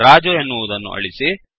ರಾಜು ಎನ್ನುವುದನ್ನು ಅಳಿಸಿ